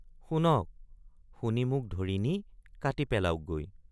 শুনক শুনি মোক ধৰি নি কাটি পেলাওকগৈ।